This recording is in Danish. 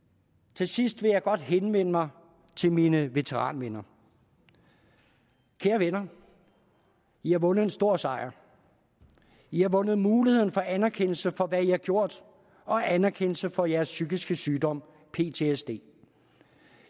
til sidst vil jeg godt henvende mig til mine veteranvenner kære venner i har vundet en stor sejr i har vundet muligheden for anerkendelse for hvad i har gjort og anerkendelse for jeres psykiske sygdom ptsd